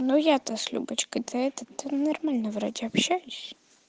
ну я то с любочкой да этот нормально вроде общаюсь